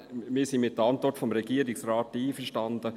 Wir sind mit der Antwort des Regierungsrates einverstanden.